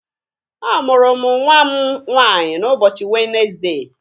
A mụrụ mụ nwa m nwaanyi n'ụbọchị Wenezdee.